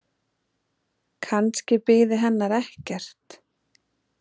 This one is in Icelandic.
Kannski biði hennar ekkert.